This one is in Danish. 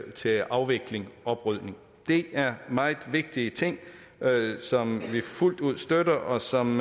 til afvikling og oprydning det er meget vigtige ting som vi fuldt ud støtter og som